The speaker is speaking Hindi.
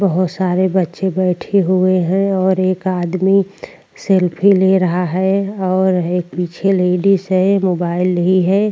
बहौत सारे बच्चे बैठे हुऐ हैं और एक आदमी सेल्फी ले रहा है और एक पीछे लेडीज है मोबाइल लीए है।